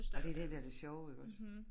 Ej det dét der det sjove iggås?